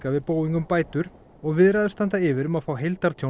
við Boeing um bætur og viðræður standa yfir um að fá